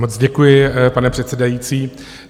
Moc děkuji, pane předsedající.